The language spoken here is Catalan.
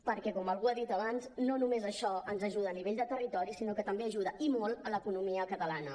perquè com algú ha dit abans no només això ens ajuda a nivell de territori sinó que també ajuda i molt l’economia catalana